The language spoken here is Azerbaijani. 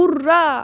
Urra!